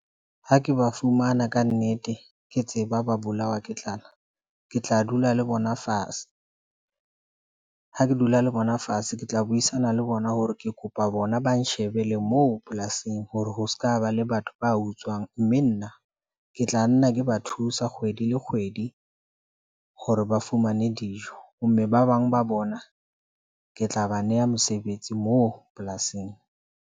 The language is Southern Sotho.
Ha ke ba fumana kannete, ke tseba ba bolawa ke tlala, ke tla dula le bona fase ha ke dula le bona fatshe. Ke tla buisana le bona hore ke kopa bona ba nshebele moo. Polasing ho rona ho ska ba le batho ba utswang, mme nna ke tla nna ke ba thusa kgwedi le kgwedi hore ba fumane dijo mme ba bang ba bona ke tla ba neha mesebetsi moo polasing.